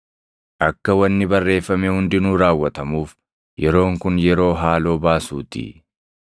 Akka wanni barreeffame hundinuu raawwatamuuf yeroon kun yeroo haaloo baasuutii.